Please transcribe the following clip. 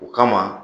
O kama